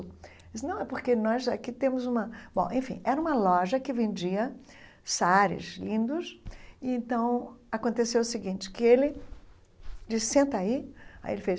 Ele disse, não, é porque nós aqui temos uma... Bom, enfim, era uma loja que vendia saáres lindos, e então aconteceu o seguinte, que ele disse, senta aí, aí ele fez...